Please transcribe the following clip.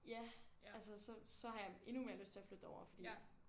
Ja altså så så har jeg endnu mere lyst til at flytte derover fordi